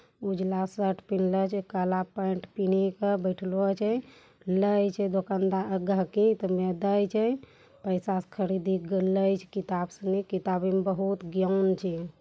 उजला शर्ट पहनल छे जे काला पैंट पहनी के बैठलो छे किताबों में बहुत ज्ञान छे।